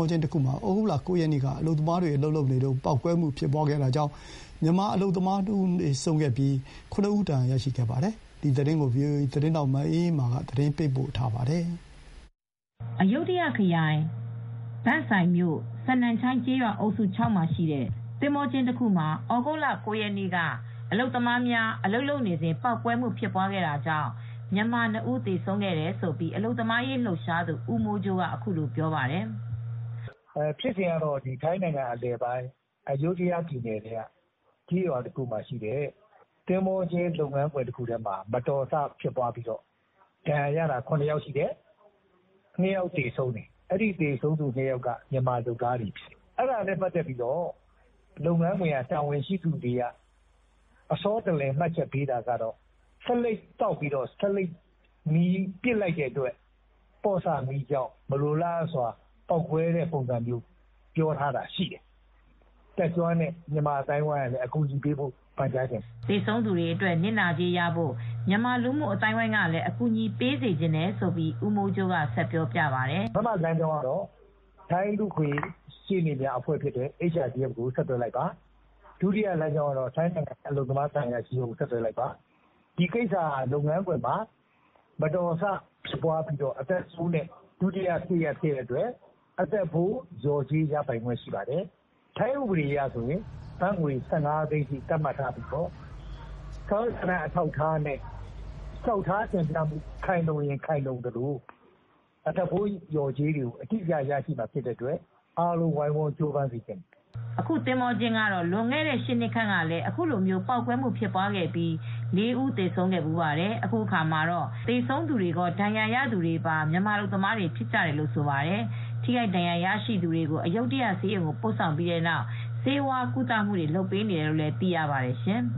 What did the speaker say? ောကျင်းတခုမှာ ဩဂုတ်လ ၉ ရက်နေ့က အလုပ်သမားများအလုပ်လုပ်နေစဉ် ပေါက်ကွဲမှုဖြစ်ပွားတာကြောင့် မြန်မာအလုပ်သမား ၇ ဦးဒဏ်ရာရပြီး ၂ ဦးကတော့ ပေါက်ကွဲမှုကြောင့်သေဆုံးသွားခဲ့ပါတယ်။ ဒီသတင်းကို ဗွီအိုအေသတင်းထောက်မအေးအေးမာက သတင်းပေးပို့ထားပါတယ်။ အယုဒ္ဓယခရိုင် ဘန်စိုင်မြို့ စနမ်ချိုင်ကျေးရွာအုပ်စု ၆ မှာရှိတဲ့သင်္ဘောကျင်းတခုမှာ ဩဂုတ်လ ၉ ရက်နေ့ က အလုပ်သမားများအလုပ်လုပ်နေစဉ် ပေါက်ကွဲမှုဖြစ်ပွားတာကြောင့် မြန်မာ ၂ ဦးသေဆုံးခဲ့တယ်လို့ အလုပ်သမားရေးလှုပ်ရှားသူ ဦးမိုးကြိုးကအခုလိုပြောပါတယ်။ “ဖြစ်စဉ်ကတော့ ထိုင်းနိုင်ငံအလယ်ပိုင်း အယုဓ္ဒယခရိုင်ထဲမှာရှိတဲ့ကျေးရွာတခုရဲ့ သင်္ဘောကျင်းတခုမှာ မတော်တဆဖြစ်ပြီး ဒဏ်ရာရသူ ၇ ယောက်ရှိတယ်။ အဲဒီထဲမှာ သေဆုံးသူ ၂ ဦးရှိတယ်။ အဲဒီ ၂ ဦးကတော့ မြန်မာအလုပ်သမားတွေဖြစ်တယ်။ သူတို့ဖြစ်စဉ်ကို လုပ်ငန်းကတာဝန်ရှိသူတွေက အစောတလျင် မှတ်ချက် ပေးတာကတော့ ဆေးလိပ်သောက်ပြီး ဆေးလိပ်မီးကိုပစ်လိုက်တဲ့အတွက် မလိုအပ်ဘဲ ပေါက်ကွဲမီးလောင်မှု ဖြစ်တယ်လို့မှတ်ချက်ပေးပါတယ်။” သေဆုံးသူတွေအတွက် နစ်နာကြေးရဖို့ မြန်မာလူမှုအသိုင်းအဝိုင်းကလည်း အကူညီပေး စေချင်တယ်လို့ ဦးမိုးကြိုးကဆက်ပြောပြပါတယ်။ “တတ်ကျွမ်းတဲ့ မြန်မာအသိုင်းအဝိုင်းကလည်းအကူညီပေးစေချင်ပါတယ်။ ပထမကတော့ ထိုင်းလူ့အခွင့်ရေး ရှေ့နေတွေပါတဲ့HRDF လူ့အခွင့်ရေးအဖွဲ့ကို ဆက်သွယ်လိုက်ပါ။ ဒုတိယလမ်းကြောင်းကတော့ ထိုင်းနိုင်ငံက အလုပ်သမားသံအရာရှိကို ဆက်သွယ်လိုက်ပါ၊ ဒီကိစ္စကလုပ်ငန်းခွင်မှာမတော်တဆဖြစ်ပွားပြီး အသက်ဖိုး လျော်ကြေးရပိုင်ခွင့်ရမှာဖြစ်ပါတယ်။ ထိုင်းဥပဒေအရကတော့ ဘတ်ငွေ ၁၅ သိန်းထိ သတ်မှတ်ထားပြီး စာရွက်စာတမ်း အထောက်အထားတွေခိုင်လုံရင် အသက်ဖိုးလျော်ကြေး နစ်နာကြေးရမှာမို့ အားလုံးဝိုင်းဝန်း ကြိုးစားစေချင်ပါတယ်။” အခု သင်္ဘောကျင်းကတော့ လွန်ခဲ့တဲ့ ၈ နှစ်ခန့်ကလည်း အခုလိုမျိုး ပေါက်ကွဲမှုတခုဖြစ်ပွားပြီးလူ ၄ ဦး သေဆုံးဖူးပါတယ်။ အခုအခါမှာ သေဆုံးသူကော ဒဏ်ရာရသူတွေဟာ မြန်မာအလုပ်သမားတွေ ဖြစ်ကြတယ်လို့လည်း ဆိုပါတယ်။ ထိခိုက်ဒဏ်ရာရရှိသူများကို အယုဒ္ဓယဆေးရုံသို့ ပို့ဆောင်ပြီး နောက် ဆေးဝါးကုသမှုပေးနေတယ်လို့ သိရပါတယ်ရှင်